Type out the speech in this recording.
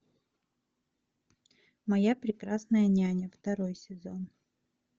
моя прекрасная няня второй сезон